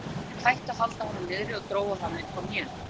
Lögregluþjónarnir hættu að halda honum niðri og drógu hann upp á hnén.